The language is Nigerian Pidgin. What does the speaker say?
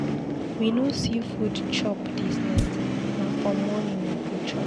We no see food chop dis night, na for morning we go chop.